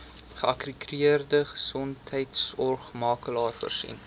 geakkrediteerde gesondheidsorgmakelaar voorsien